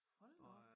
Hold nu op